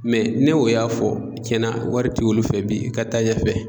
ne y'o y'a fɔ tiɲɛn na wari tɛ olu fɛ bi i ka taa ɲɛfɛ.